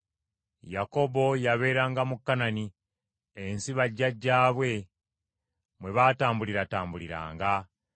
Yakobo yabeeranga mu Kanani, ensi bajjajjaabe mwe baatambuliratambuliranga.